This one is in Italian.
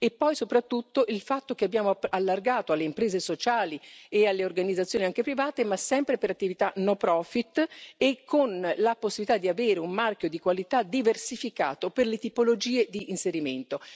E poi, soprattutto, abbiamo allargato alle imprese sociali e alle organizzazioni anche private, ma sempre per attività no profit e con la possibilità di avere un marchio di qualità diversificato per le tipologie di inserimento.